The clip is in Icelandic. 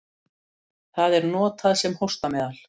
Það er notað sem hóstameðal.